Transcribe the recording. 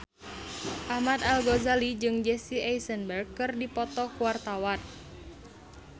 Ahmad Al-Ghazali jeung Jesse Eisenberg keur dipoto ku wartawan